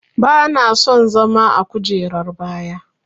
Bana son zama a kujerar baya.